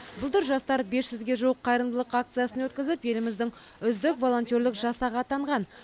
былтыр жастар бес жүзге жуық қайырымдылық акциясын өткізіп еліміздің үздік волонтерлік жасағы атанған